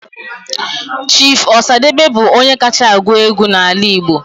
Chief Osadebe bụ onye kacha agụ egwu n'ala Igbo